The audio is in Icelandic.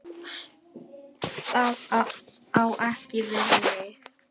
Það á ekki við mig.